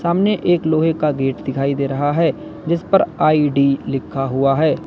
सामने एक लोहे का गेट दिखाई दे रहा है जिस पर आई_डी लिखा हुआ है।